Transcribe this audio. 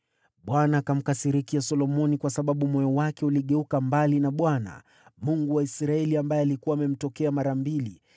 Bwana akamkasirikia Solomoni kwa sababu moyo wake uligeuka mbali na Bwana , Mungu wa Israeli, ambaye alikuwa amemtokea mara mbili.